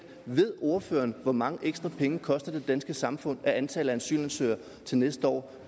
ved ordføreren hvor mange ekstra penge det koster det danske samfund at antallet af asylansøgere til næste år